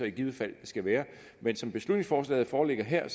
i givet fald skal være men som beslutningsforslaget foreligger her